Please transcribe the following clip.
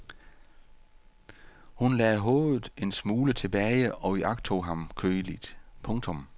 Hun lagde hovedet en smule tilbage og iagttog ham køligt. punktum